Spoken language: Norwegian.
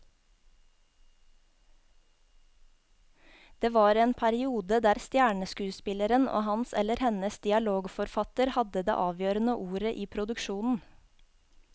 Det var en periode der stjerneskuespilleren og hans eller hennes dialogforfatter hadde det avgjørende ordet i produksjonen.